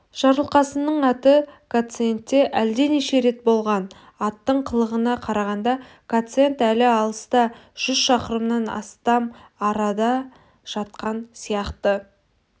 жарылқасынның аты гациендте әлденеше рет болған аттың қылығына қарағанда гациенд әлі алыста жүз шақырымнан астам арыда жатқан сияқты